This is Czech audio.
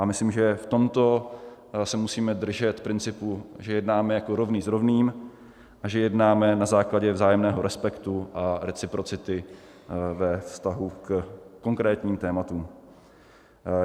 A myslím, že v tomto se musíme držet principu, že jednáme jako rovný s rovným a že jednáme na základě vzájemného respektu a reciprocity ve vztahu ke konkrétním tématům.